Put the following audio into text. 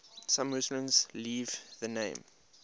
some muslims leave the name